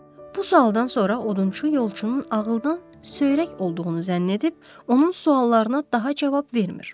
Bu sualdan sonra odunçu yolçunun ağıldan söyrək olduğunu zənn edib onun suallarına daha cavab vermir.